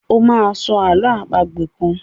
o má sọ àlọ́ àpagbè kán!